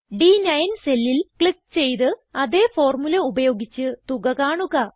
ഡ്9 സെല്ലിൽ ക്ലിക്ക് ചെയ്ത് അതേ ഫോർമുല ഉപയോഗിച്ച് തുക കാണുക